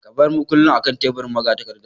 Ka bar mukullin akan teburin magatakarda.